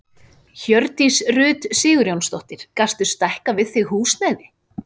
Hjördís Rut Sigurjónsdóttir: Gastu stækkað við þig húsnæði?